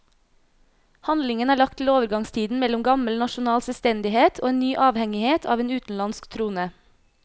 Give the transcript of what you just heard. Handlingen er lagt til overgangstiden mellom gammel nasjonal selvstendighet og en ny avhengighet av en utenlandsk trone.